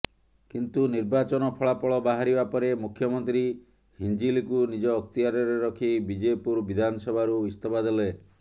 କିନ୍ତୁ ନିର୍ବାଚନ ଫଳାଫଳ ବାହାରିବା ପରେ ମୁଖ୍ୟମନ୍ତ୍ରୀ ହିଂଜିଲିକୁ ନିଜ ଅକ୍ତିଆରରେ ରଖି ବିଜେପୁର ବିଧାନସଭାରୁ ଇସ୍ତଫା ଦେଲେ